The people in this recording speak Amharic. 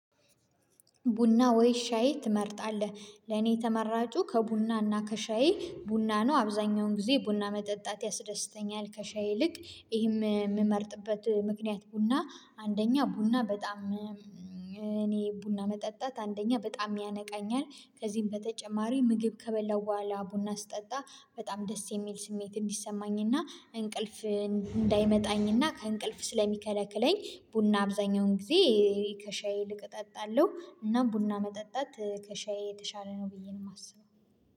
ቡና ወይ ሻይ ትመርጣለህ? ለኔ ተመራጩ ከቡና እና ከሻይ ቡና ነው አብዛኛውን ጊዜ ቡና መጠጣት ያስደስተኛል ከሻይ ይልቅ። ይሄም የምመርጥበት ምክንያት ቡና አንደኛ ቡና በጣም እኔ ቡና መጠጣት አንደኛ በጣም ያነቃኛል። ከዚህም በተጨማሪ ምግብ ከበላው በኋላ ቡና ስጠጣ በጣም ደስ የሚል ስሜት እንዲሰማኝና እንቅልፍ እንዳይመጣኝና ከእንቅልፍ ስለሚከለክለኝ ቡና አብዛኛውን ጊዜ። ከሻይ ይልቅ እጠጣለሁ እና ቡና መጠጣት ከሻይ የተሻለ ነው ብዬ ነው የማስበው